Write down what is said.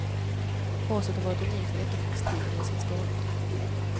Raset har varit unikt för efterkrigstiden i sin storlek.